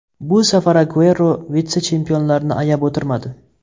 Bu safar Aguero vitse-chempionlarni ayab o‘tirmadi.